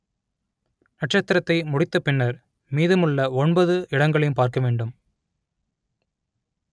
நட்சத்திரத்தை முடித்த பின்னர் மீதமுள்ள ஒன்பது இடங்களையும் பார்க்க வேண்டும்